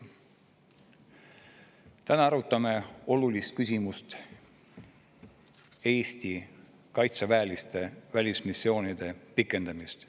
Täna arutame olulist küsimust: Eesti kaitseväelaste välismissioonide pikendamist.